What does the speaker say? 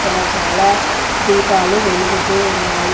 ఇక్కడ చాలా దీపాలు వెలుగుతూ ఉన్నాయి.